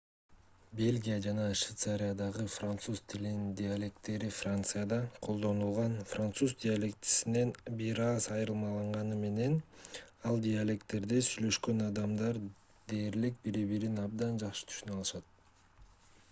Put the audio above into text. бельгия жана швейцариядагы француз тилинин диалектилери францияда колдонулган француз диалектисинен бир аз айырмаланганы менен ал диалектилерде сүйлөшкөн адамдар дээрлик бири-бирин абдан жакшы түшүнө алышат